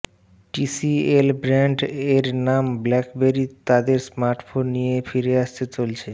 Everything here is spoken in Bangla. টিসিএল ব্র্যান্ড এর নাম ব্লাকবেরি তাদের স্মার্টফোন নিয়ে ফিরে আসতে চলেছে